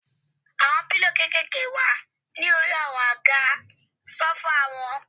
Àwọn pílò kékèèké wà ní orí àwọn àga sófà wọn.